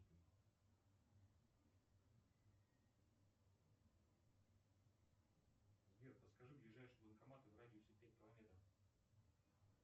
сбер подскажи ближайший банкомат в радиусе пять километров